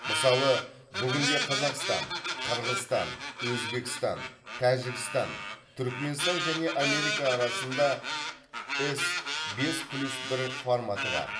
мысалы бүгінде қазақстан қырғызстан өзбекстан тәжікстан түрікменстан және америка арасында с бес плюс бір форматы бар